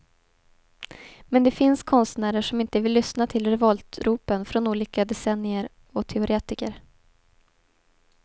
Men det finns konstnärer som inte vill lyssna till revoltropen från olika decennier och teoretiker.